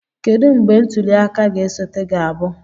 Kedu mgbe ntuli aka na-esote ga-abụ?